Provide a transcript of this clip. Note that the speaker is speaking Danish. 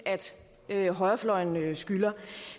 at højrefløjen skylder